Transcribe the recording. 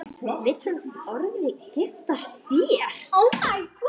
Vill hún orðið giftast þér?